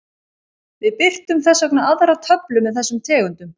Við birtum þess vegna aðra töflu með þessum tegundum.